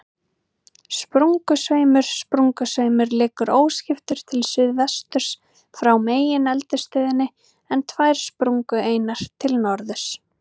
Sprungusveimur Sprungusveimur liggur óskiptur til suðsuðvesturs frá megineldstöðinni, en tvær sprungureinar til norðurs.